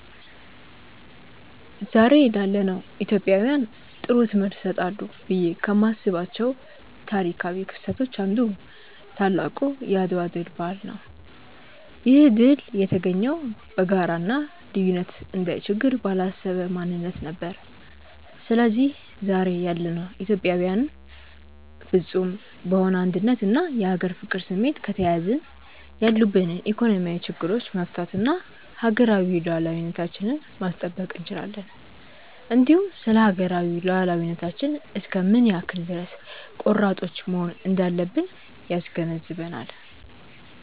ዛሬ ላለነው ኢትዮጵያውያን ጥሩ ትምህርት ይሰጣሉ ብዬ ከማስባቸው ታሪካው ክስተቶች አንዱ ታላቁ የአድዋ ድል በዓል ነው። ይህ ድል የተገኘው በጋራ እና ልዩነትን እንደ ችግር ባላሰበ ማንነት ነበር። ስለዚህ ዛሬ ያለነው ኢትዮጵያዊያንም ፍፁም በሆነ አንድነት እና የሀገር ፍቅር ስሜት ከተያያዝን ያሉብንን ኢኮኖሚያዊ ችግሮቻች መፍታት እና ሀገራዊ ሉዓላዊነታችንን ማስጠበቅ እንችላለን። እንዲሁም ስለሀገራዊ ሉዓላዊነታችን እስከ ምን ያክል ድረስ ቆራጦች መሆን እንዳለብን ያስገነዝበናል።